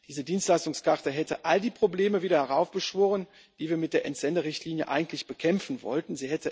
Diese Dienstleistungskarte hätte all die Probleme wieder heraufbeschworen, die wir mit der Entsenderichtlinie eigentlich bekämpfen wollten.